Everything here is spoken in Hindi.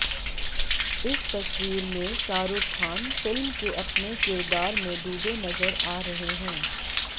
इस तस्वीर में शाहरूख खान फिल्म के अपने किरदार में डूबे नज़र आ रहे हैं